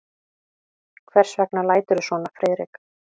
Hvers vegna læturðu svona, Friðrik?